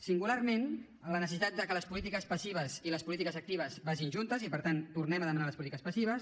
singularment la necessitat que les polítiques passives i les polítiques actives vagin juntes i per tant tornem a demanar les polítiques passives